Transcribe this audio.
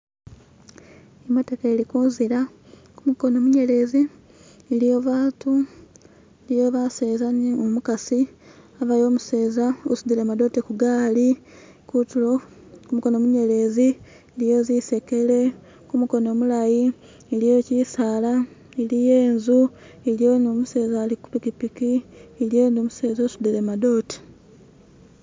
i'motoka i'li kunzila ku'mukono mu'nyelezi i'liyo baatu i'liyo ba'seze nu'mukasi e'liyo u'museza a'sudile madote ku'gaali ku'tulo ku'mukono mu'nyelezi e'liyo zi'sekele ku'mukono mu'laayi e'liyo kyi'saala i'liyo i'nzu i'liyo nu'mu'seza ali'kupiki e'liyo numu'seza a'sudile madote